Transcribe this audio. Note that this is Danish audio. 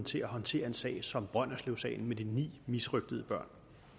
til at håndtere en sag som brønderslevsagen med de ni misrøgtede børn